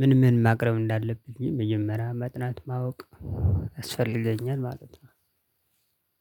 ምን ምን ማቅረብ እንዳለብኝ መጀመሪያ ማጥናት ማወቅ ያስፈልገኛል ማለት ነው።